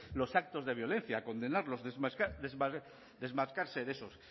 los actos de violencia condenarlos desmarcarse de esos